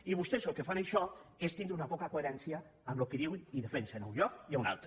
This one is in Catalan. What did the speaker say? i vostès el que fan amb això és tindre una poca coherència amb el que diuen i defensen en un lloc i a un altre